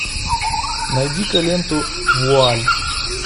найди ка ленту вуаль